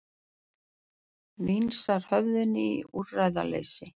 Vingsar höfðinu í úrræðaleysi.